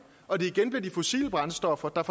og det igen bliver de fossile brændstoffer der